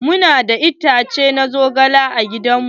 Mu na da itace na zogale a gidan mu.